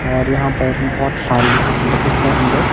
और यहां पर बहुत सारी बकेट है अंदर।